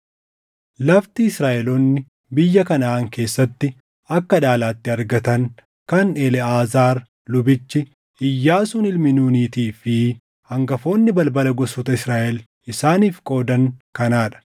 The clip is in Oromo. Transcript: Lafti Israaʼeloonni biyya Kanaʼaan keessatti akka dhaalaatti argatan kan Eleʼaazaar lubichi, Iyyaasuun ilmi Nuunitii fi hangafoonni balbala gosoota Israaʼel isaaniif qoodan kanaa dha.